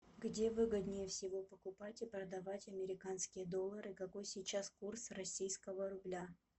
где выгоднее всего покупать и продавать американские доллары и какой сейчас курс российского рубля